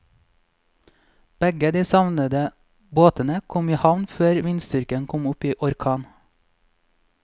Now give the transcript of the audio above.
Begge de savnede båtene kom i havn før vindstyrken kom opp i orkan.